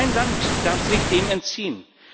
Kein Land darf sich dem entziehen.